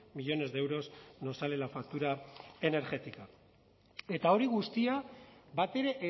millónes de euros nos sale la factura energética eta hori guztia batere